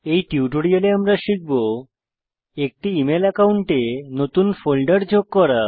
এই টিউটোরিয়ালে আমরা শিখব একটি ইমেল একাউন্টে নতুন ফোল্ডার যোগ করা